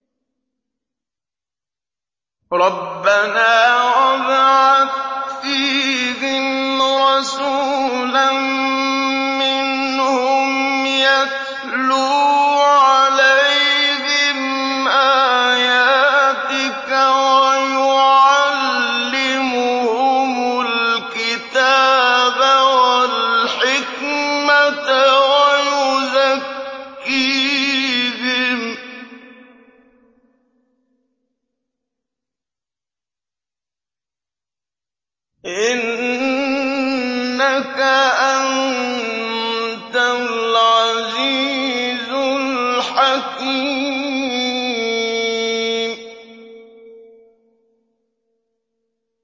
رَبَّنَا وَابْعَثْ فِيهِمْ رَسُولًا مِّنْهُمْ يَتْلُو عَلَيْهِمْ آيَاتِكَ وَيُعَلِّمُهُمُ الْكِتَابَ وَالْحِكْمَةَ وَيُزَكِّيهِمْ ۚ إِنَّكَ أَنتَ الْعَزِيزُ الْحَكِيمُ